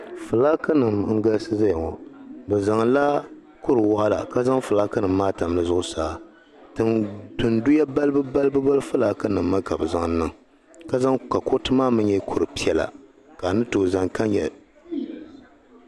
Fulaakinima n-galisi zaya ŋɔ. Bɛ zaŋla kur' waɣila ka zaŋ fulaakinima maa tam di zuɣusaa. Tinduya balibubalibu mi fulaakinima mi ka bɛ zaŋ niŋ ka kuriti maa mi nyɛ kur' piɛla ka a ni tooi zani ka nyɛ.